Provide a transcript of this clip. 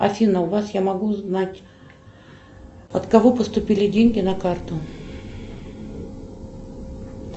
афина у вас я могу узнать от кого поступили деньги на карту